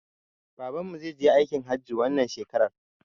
Babanmu zai je aikin hajji wannan shekarar